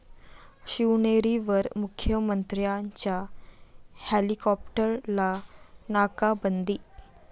शिवनेरीवर मुख्यमंत्र्यांच्या हेलिकॉप्टरला 'नाकाबंदी'